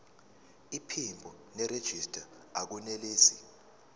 iphimbo nerejista akunelisi